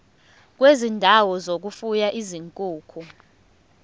kwezindawo zokufuya izinkukhu